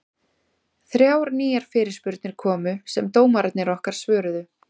Þrjár nýjar fyrirspurnir komu sem dómararnir okkar svöruðu.